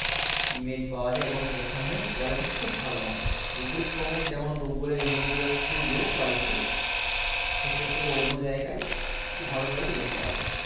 image পাওয়া যায় এবং যেখানে quality খুব ভালো হয় google chrome এ যেমন google এর image গুলো একটু low quality র সেক্ষেত্রে অন্য জায়গায় একটু ভালো quality image পাওয়া যায়